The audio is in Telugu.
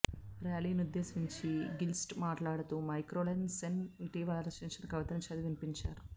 ర్యాలీ నుద్దేశించి గిల్క్రిస్ట్ మాట్లాడుతూ మైఖేల్రోసెన్ ఇటీవల రచించిన కవితను చదివి వినిపించారు